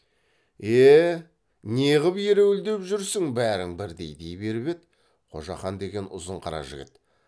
е не ғып ереуілдеп жүрсің бәрің бірдей дей беріп еді қожақан деген ұзын қара жігіт